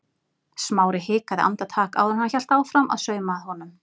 Smári hikaði andartak áður en hann hélt áfram að sauma að honum.